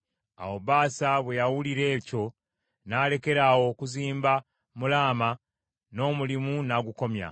Awo Baasa bwe yawulira ekyo, n’alekeraawo okuzimba mu Laama, n’omulimu n’agukomya.